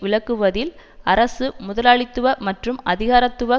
விளக்குவதில் அரசு முதலாளித்துவ மற்றும் அதிகாரத்துவ